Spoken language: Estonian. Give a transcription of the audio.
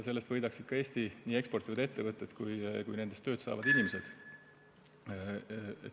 Sellest võidaksid nii Eesti eksport kui ka ettevõtted ja nendes tööd saavad inimesed.